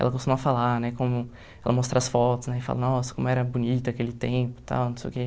Ela costuma falar, né, como... Ela mostra as fotos, né, e fala, nossa, como era bonita aquele tempo e tal, não sei o quê.